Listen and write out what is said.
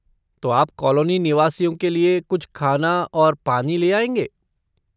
तो आप कॉलोनी निवासियों लिए कुछ खाना और पानी ले आएँगे?